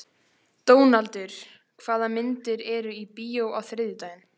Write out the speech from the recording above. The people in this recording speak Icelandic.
Dónaldur, hvaða myndir eru í bíó á þriðjudaginn?